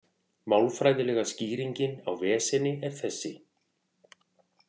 Málfræðilega skýringin á veseni er þessi: